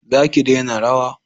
za ki dena rawa!